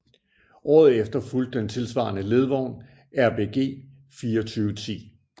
Året efter fulgte den tilsvarende ledvogn RBG 2410